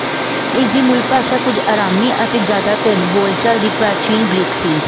ਇਸ ਦੀ ਮੁਲਭਾਸ਼ਾਂ ਕੁਝ ਆਰਾਮੀ ਅਤੇ ਜਾਦਾਤਰ ਬੋਲਚਾਲ ਦੀ ਪ੍ਰਾਚੀਨ ਗ੍ਰੀਕ ਸੀ